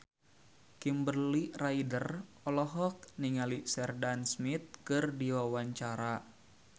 Kimberly Ryder olohok ningali Sheridan Smith keur diwawancara